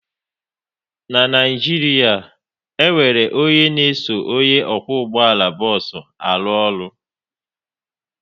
N'Naijiria, e nwere onye n'eso onye na-akwọ ụgbọala bos arụ ọrụ